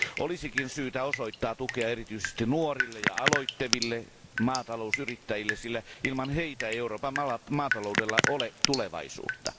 Olisikin syytä osoittaa tukea erityisesti nuorille ja aloitteleville maatalousyrittäjille, sillä ilman heitä ei Euroopan maataloudella ole tulevaisuutta.